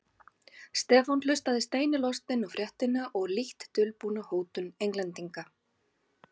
Stefán hlustaði steini lostinn á fréttina og lítt dulbúna hótun Englendinga.